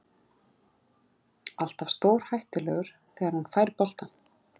Alltaf stórhættulegur þegar hann fær boltann.